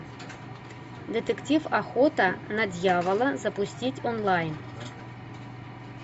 детектив охота на дьявола запустить онлайн